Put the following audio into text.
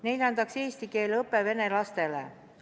Neljandaks, eesti keele õpe vene lastele.